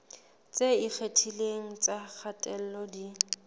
tse ikgethileng tsa kgatello di